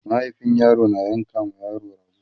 mahaifin yaro na yanka ma yaro rago